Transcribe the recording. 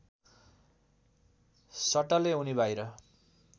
सटले उनी बाहिर